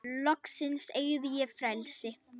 Loksins eygði ég frelsi.